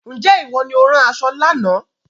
Ǹjẹ́ ìwọ ni ó rán aṣọ lánàá